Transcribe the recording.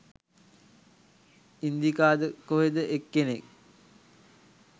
ඉන්දිකාද කොහෙද එක්කෙනෙක්